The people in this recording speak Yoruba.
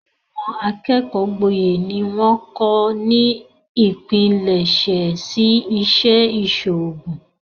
Àwọn akẹ́kọ̀ọ́ gboyè ni wọ́n kọ́ ni ipilẹsẹ̀ sí Ìṣẹ́ ìṣòògùn